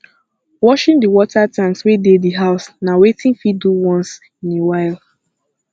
washing di water tanks wey dey di house na wetin fit do once in a while